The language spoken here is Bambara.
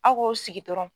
Aw k'o sigi dɔrɔn